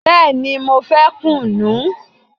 Bẹẹni, mo fẹ́ kùnú